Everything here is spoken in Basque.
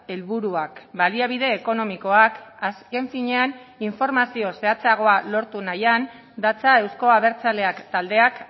helburuak baliabide ekonomikoak azken finean informazio zehatzagoa lortu nahian datza euzko abertzaleak taldeak